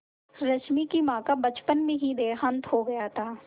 रश्मि की माँ का बचपन में ही देहांत हो गया था